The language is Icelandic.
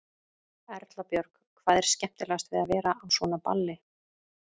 Erla Björg: Hvað er skemmtilegast við að vera á svona balli?